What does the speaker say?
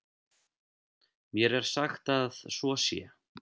Mér er sagt að svo sé.